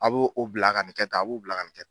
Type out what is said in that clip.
A b'o o bila ka nin kɛ tan a b'o o bila ka nin kɛ tan